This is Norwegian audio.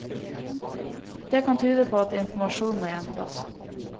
Det kan tyde på at informasjon må gjentas.